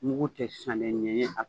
Mugu tɛ sannen ɲɛɲɛ